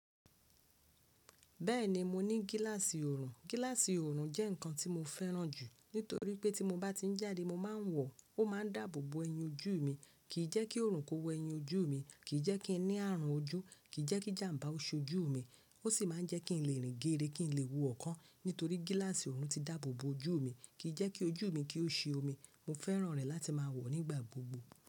Bẹ́ẹ̀ni mo ní gílàsì ọ̀rùn. Gílàsì ọ̀rùn jẹ́ nkan tí mo fẹ́ràn jù nítorí pé tí mo bá ti ń jáde mo máa ń wọ̀ ọ́, ó máa ń dáàbò bo ẹyin ojú mi, kì í jẹ́kí oòrùn kó wẹ ẹyin ojú mi, kì í jẹ́kí ẹ ní àrùn ojú, kì í jẹ́kí jàm̀bá oṣu ojú mi, ó sì máa ń jẹ́ kí n lè rìn géere, kí n lè wo ọkàn nítorí gílàsì ọ̀rùn ti dáàbò bo ojú mi, kì í jẹ́kí ojú mi kí ó ṣe omi. Mo fẹ́ràn rẹ̀ láti máa wọ̀ ọ́ nígbà gbogbo.